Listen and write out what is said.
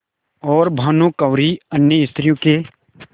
और भानुकुँवरि अन्य स्त्रियों के